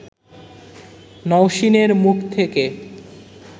নওশীনের মুখ থেকে